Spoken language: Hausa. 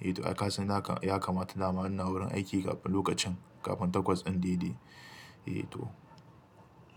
Eh to, ai kasan haka, ya kamata dama in na wurin aiki kafin lokacin kafin takwas ɗin dai dai. Eh to.